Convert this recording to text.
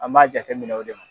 An b'a jateminɛ o de ma.